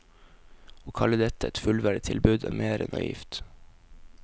Å kalle dette et fullverdig tilbud, er mer enn naivt.